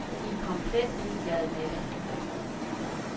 De er komplet ligeglade med det.